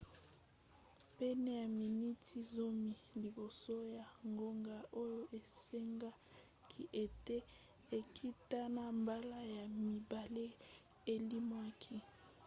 pene ya miniti zomi liboso ya ngonga oyo esengaki ete ekita na mbala ya mibale elimwaki